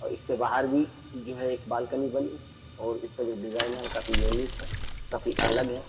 और इसके बाहर भी जो है एक बालकनी बनी और इसका जो डिजाइन है वो काफी यूनिक है काफी अलग है।